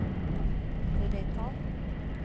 Revetal